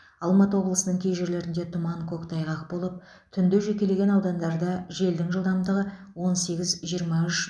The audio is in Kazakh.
алматы облысының кей жерлеріңде тұман көктайғақ болып түнде жекелеген аудандарда желдің жылдамдығы он сегіз жиырма үш